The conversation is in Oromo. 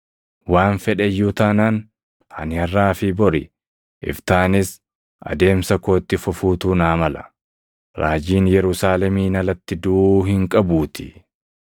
Waan fedhe iyyuu taanaan, ani harʼaa fi bori, iftaanis adeemsa koo itti fufuutu naa mala; raajiin Yerusaalemiin alatti duʼuu hin qabuutii!